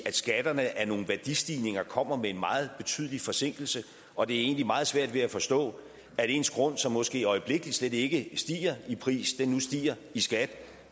skatterne af nogle værdistigninger kommer med en meget betydelig forsinkelse og det er egentlig meget svært at forstå at ens grund som måske i øjeblikket slet ikke stiger i pris nu stiger i skat